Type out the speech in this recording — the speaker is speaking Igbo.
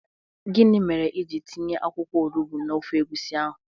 Gini mere ị jiri tinye akwụkwọ olugbu n'ofe egwusi ahụ?